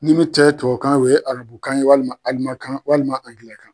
Nin min tɛ tubabukan o ye Arabukan ye walima Alimankan walima Angilɛkan.